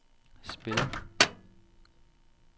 spil